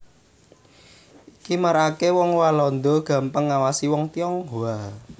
Iki maraaké wong Walanda gampang ngawasi wong Tionghoa